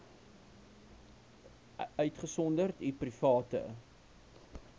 uitgesonderd u private